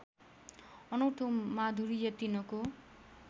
अनौठो माधुर्य तिनको